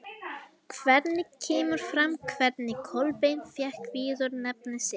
Hvergi kemur fram hvernig Kolbeinn fékk viðurnefni sitt.